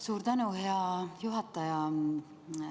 Suur tänu, hea juhataja!